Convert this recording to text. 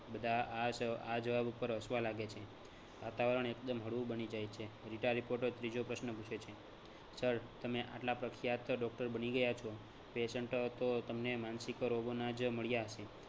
બધાં આ સવા આ જવાબ ઉપર હસવા લાગે છે. વાતાવરણ એકદમ હળવું બની જાય છે. રીટા reporter ત્રીજો પ્રશ્ન પૂછે છે sir તમે આટલા પ્રખ્યાત doctor બની ગયા છો patient તો તમને માનસિક રોગો ના જ મળ્યા હસે